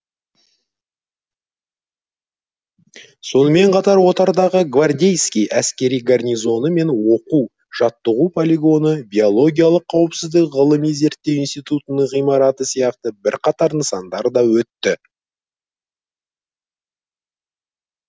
сонымен қатар отардағы гвардейский әскери гарнизоны мен оқу жаттығу полигоны биологиялық қауіпсіздік ғылыми зертеу институтының ғимараты сияқты бірқатар нысандар да өтті